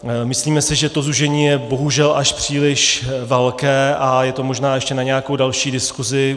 Myslíme si, že to zúžení je bohužel až příliš velké a je to možná ještě na nějakou další diskuzi.